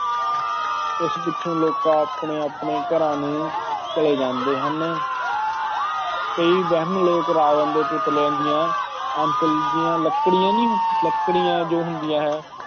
ਇਸ ਪਿੱਛੋਂ ਲੋਕ ਆਪਣੇ ਆਪਣੇ ਘਰਾਂ ਨੂੰ ਚਲੇ ਜਾਂਦੇ ਹਨ ਕਈ ਵਹਿਮੀ ਲੋਕ ਰਾਵਣ ਦੇ ਪੁਤਲਿਆਂ ਦੀਆਂ ਅੰਤਲੀਆਂ ਲੱਕੜੀਆਂ ਨਹੀਂ, ਲੱਕੜੀਆਂ ਜੋ ਹੁੰਦੀਆਂ ਹੈ।